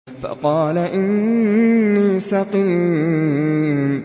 فَقَالَ إِنِّي سَقِيمٌ